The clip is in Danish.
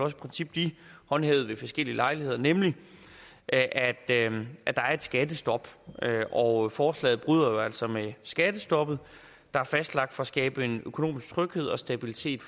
et princip de håndhævede ved forskellige lejligheder nemlig at at der er et skattestop og forslaget bryder jo altså med skattestoppet der er fastlagt for at skabe økonomisk tryghed og stabilitet